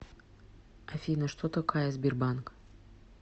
афина что такая сбербанк